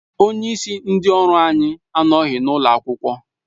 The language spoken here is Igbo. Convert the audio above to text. Onyeisi ndị ọrụ anyị anọghị n'ụlọ akwụkwọ